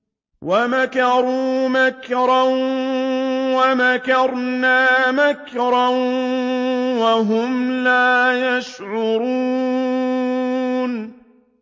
وَمَكَرُوا مَكْرًا وَمَكَرْنَا مَكْرًا وَهُمْ لَا يَشْعُرُونَ